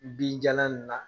Binjalan in na.